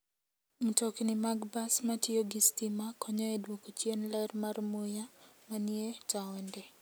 Mtokni mag bas matiyo gi stima konyo e dwoko chien ler mar muya manie taonde.